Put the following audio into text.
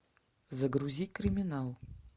загрузи криминал